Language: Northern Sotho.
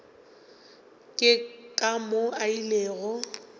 ke ka moo a ilego